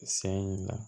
San in na